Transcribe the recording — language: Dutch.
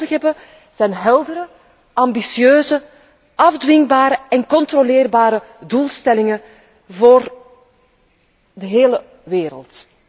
Want wat wij nodig hebben zijn heldere, ambitieuze, afdwingbare en controleerbare doelstellingen voor de hele wereld.